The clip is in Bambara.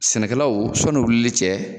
Sɛnɛkɛlawl sɔnni u wulili cɛ